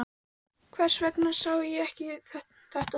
Hvers vegna sá ég þetta ekki fyrir?